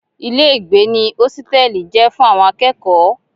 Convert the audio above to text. Ilé ìgbé ní hositẹ́li jẹ fún àwọn akẹ́kọ̀ọ́.